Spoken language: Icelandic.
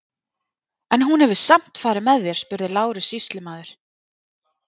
En hún hefur samt farið með þér, spurði Lárus sýslumaður.